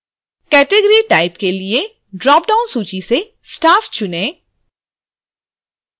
category type: के लिए dropdown सूची से staff चुनें